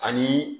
Ani